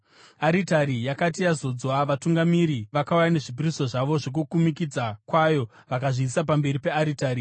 Aritari yakati yazodzwa, vatungamiri vakauya nezvipiriso zvavo zvokukumikidzwa kwayo vakazviisa pamberi pearitari.